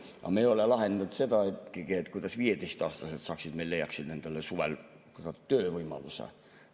Aga me ei ole lahendanud ikkagi seda, kuidas 15‑aastased leiaksid endale suvel päriselt töövõimaluse.